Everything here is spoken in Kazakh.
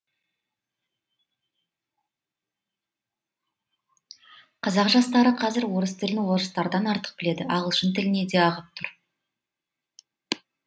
қазақ жастары қазір орыс тілін орыстардан артық біледі ағылшын тіліне де ағып тұр